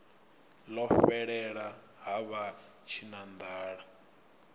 ḽo fhelela ha vha tshinanḓala